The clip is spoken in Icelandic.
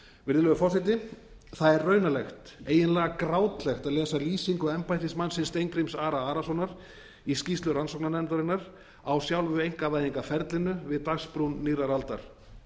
virðulegur forseti það er raunalegt eiginlega grátlegt að lesa lýsingu embættismannsins steingríms ara arasonar í skýrslu rannsóknarnefndarinnar á sjálfu einkavæðingarferlinu við dagsbrún nýrrar aldar